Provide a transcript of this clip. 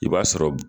I b'a sɔrɔ